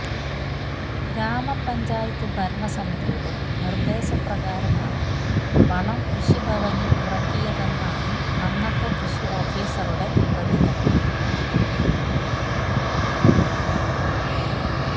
ഗ്രാമപഞ്ചായത്ത് ഭരണ സമിതിയുടെ നിര്ദ്ദേശപ്രകാരമാണ് വളം കൃഷിഭവനില് ഇറക്കിയതെന്നാണ് അന്നത്തെ കൃഷി ഓഫീസറുടെ പ്രതികരണം